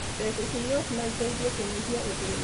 Mbeca cĩa igooti no iteithie kũnyihia ũthĩni.